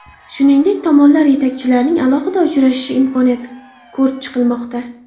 Shuningdek, tomonlar yetakchilarning alohida uchrashishi imkoniyatini ko‘rib chiqmoqda.